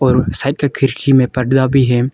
ओर side का खिरकी में पर्दा भी है।